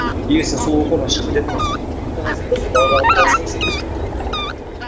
егер сен сол оқудан шығып кететін болсаң сен қазір просто далада қалып қала саласың и все мхм